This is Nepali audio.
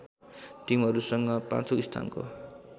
टिमहरूसँग पाँचौं स्थानको